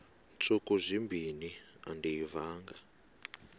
ntsuku zimbin andiyivanga